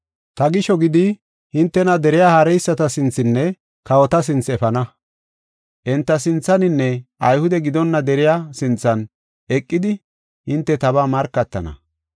Ta gisho gidi hintena deriya haareyisata sinthenne kawota sinthe efana. Enta sinthaninne Ayhude gidonna deriya sinthan eqidi hinte tabaa markatana.